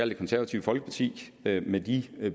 det konservative folkeparti med de